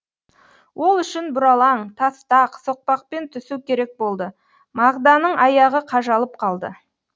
ол үшін бұралаң тастақ соқпақпен түсу керек болды мағданың аяғы қажалып қалды